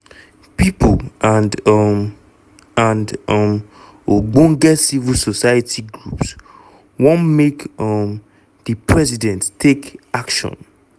pipo and um and um ogbonge civil society groups wan make um di president take action